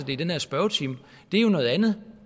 i den her spørgetime er jo noget andet